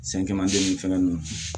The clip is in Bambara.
fɛn ninnu